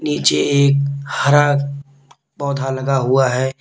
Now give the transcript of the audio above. नीचे एक हरा पौधा लगा हुआ है।